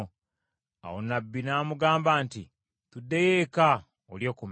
Awo nnabbi n’amugamba nti, “Tuddeyo eka olye ku mmere.”